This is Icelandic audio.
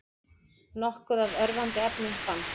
Nokkuð af örvandi efnum fannst